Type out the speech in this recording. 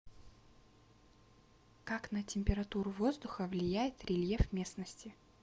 как на температуру воздуха влияет рельеф местности